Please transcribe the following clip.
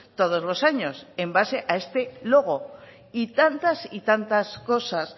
todos los años en base a este logo y tantas y tantas cosas